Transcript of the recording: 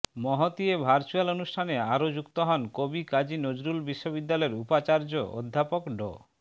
মহতী এ ভার্চ্যুয়াল অনুষ্ঠানে আরও যুক্ত হন কবি কাজী নজরুল বিশ্ববিদ্যালয়ের উপাচার্য অধ্যাপক ড